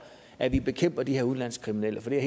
at bekæmpe de her udenlandske kriminelle for det er